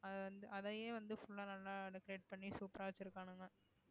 அதை வந்து அதையே வந்து full ஆ நல்லா decorate பண்ணி super ஆ வச்சிருக்கானுங்க